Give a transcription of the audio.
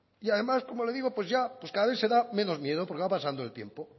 y además como le digo cada vez se da menos miedo porque va pasando el tiempo